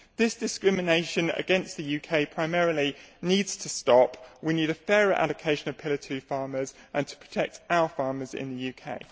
This discrimination against the UK primarily needs to stop. We need a fairer allocation of Pillar 2 farmers and to protect our farmers in the UK.